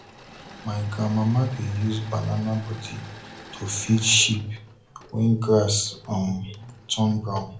my grandmama dey use banana body to feed sheep when grass um turn brown